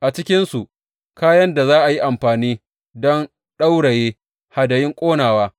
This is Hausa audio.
A cikinsu kayan da za a yi amfani don ɗauraye hadayun ƙonawa,